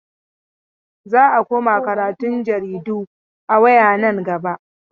Za a koma karatun jaridu a waya nan gaba.